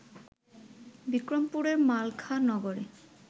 বিক্রমপুরের মালখা নগরে